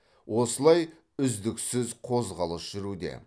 осылай үздіксіз қозғалыс жүруде